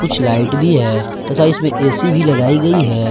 कुछ लाइट भी है तथा इसमें ए_सी भी लगाई गई है।